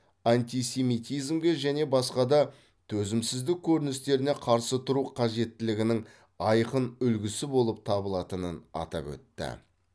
антисемитизмге және басқа да төзімсіздік көріністеріне қарсы тұру қажеттілігінің айқын үлгісі болып табылатынын атап өтті